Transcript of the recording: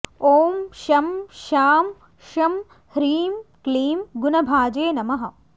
ॐ शं शां षं ह्रीं क्लीं गुणभाजे नमः